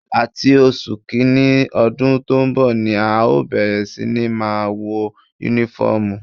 Láti oṣù kìíní ọdún tó ń bọ̀ ni à ó bẹ̀rẹ̀ sí ní máa wọ Únífọ́ọ̀mù